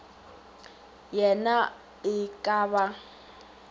ye na e ka ba